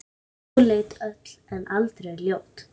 Móleit öll en aldrei ljót.